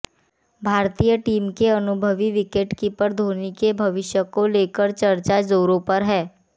भारतीय टीम के अनुभवी विकेटकीपर धोनी के भविष्य को लेकर चर्चा जोरों पर है